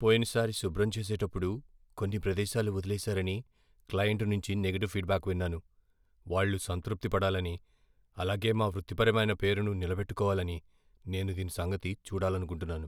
పోయినసారి శుభ్రం చేసేటప్పుడు కొన్ని ప్రదేశాలు వదిలేసారని క్లయింట్ నుంచి నెగటివ్ ఫీడ్బ్యాక్ విన్నాను. వాళ్ళు సంతృప్తి పడాలని, అలాగే మా వృత్తిపరమైన పేరును నిలబెట్టుకోవాలని నేను దీని సంగతి చూడాలనుకుంటున్నాను.